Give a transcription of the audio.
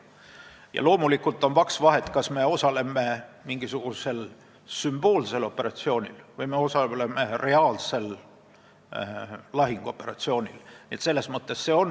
Ja loomulikult on vaks vahet, kas me osaleme mingisugusel sümboolsel operatsioonil või me osaleme reaalsel lahinguoperatsioonil.